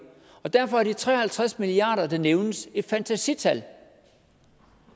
derfor er de tre og halvtreds milliard kr der nævnes et fantasital